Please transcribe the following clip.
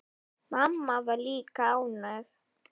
Mamma var líka ánægð.